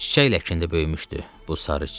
Çiçək ləkinə böyümüşdü bu sarı çiçək.